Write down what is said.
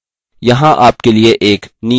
यहाँ आपके लिए एक नियतकार्य है